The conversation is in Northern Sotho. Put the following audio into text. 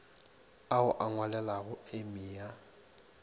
ao o a ngwalelago emia